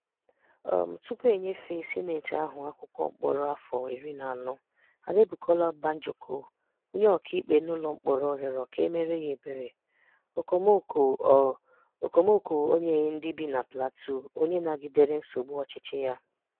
um Tùpù e nyefèè Sịnetị ahụ̀ akwụkwọ mkpọ̀rọ afọ̀ ìrì na anọ, Adebukola Banjoko, onye ọ̀kaikpé n’ụlọ̀ mkpọ̀rọ, rịọrọ ka e méerè yà ebere – okomoko ọ̀ – okomoko ọ̀ nyeghị ndị bì na Plateau onye nàgìdèré nsogbù ọchịchì yà.